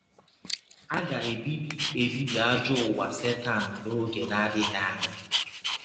A ga - ebibi ebibi ajọ ụwa Setan n’ọge na - adịghị anya.